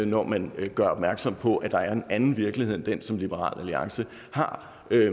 når man gør opmærksom på at der er en anden virkelighed end den som liberal alliance har